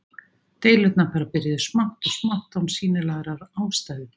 Deilurnar bara byrjuðu smátt og smátt án sýnilegrar ástæðu.